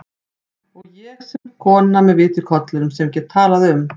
Og sem kona með vit í kollinum, sem get talað um